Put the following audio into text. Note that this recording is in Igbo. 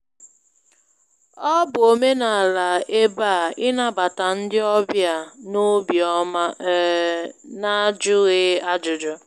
Ọ bụ omenala ebe a ịnabata ndị ọbịa n'obi ọma um n'ajụghị ajụjụ.